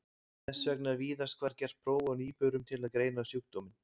Þess vegna er víðast hvar gert próf á nýburum til að greina sjúkdóminn.